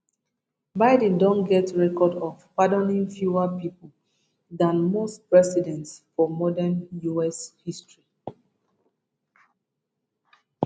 biden don get record of pardoning fewer pipo dan most presidents for modern us history